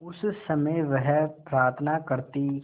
उस समय वह प्रार्थना करती